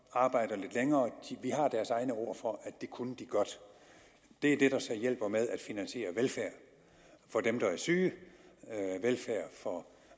arbejder lidt længere vi har deres egne ord for at det kunne de godt det er det der så hjælper til med at finansiere velfærd for dem der er syge velfærd for